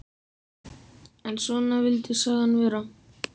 En svona vildi sagan vera